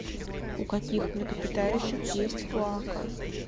у каких млекопитающих есть клоака